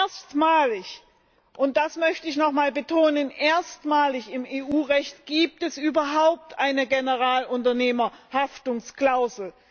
Erstmalig und das möchte ich nochmals betonen erstmalig im EU Recht gibt es überhaupt eine Generalunternehmerhaftungsklausel.